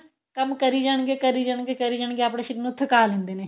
ਕੰਮ ਕਰੀ ਜਾਣਗੇ ਕਰੀ ਜਾਣਗੇ ਕਰੀ ਜਾਣਗੇ ਆਪਣੇ ਸ਼ਰੀਰ ਨੂੰ ਥਕਾ ਲੈਂਦੇ ਨੇ